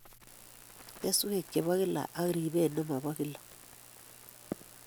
Keswek chepo kila ak ribet nobo kila